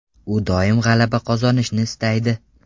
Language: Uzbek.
U doim g‘alaba qozonishni istaydi.